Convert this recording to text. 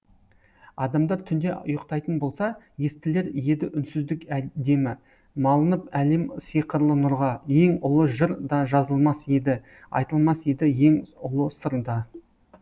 адамдар түнде ұйықтайтын болса естілер еді үнсіздік демі малынып әлем сиқырлы нұрға ең ұлы жыр да жазылмас еді айтылмас еді ең ұлы сыр да